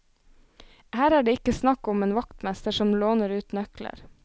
Her er det ikke snakk om en vaktmester som låner ut nøkler.